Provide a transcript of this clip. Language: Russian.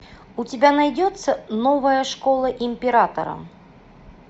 у тебя найдется новая школа императора